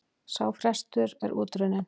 Sá frestur er út runninn.